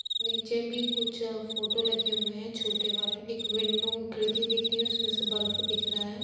नीचे भी कुछ फोटो लगी हुए है छोटे वाले। एक विंडो खिड़की भी दिख रही है उसमे से बल्फ दिख रहा है।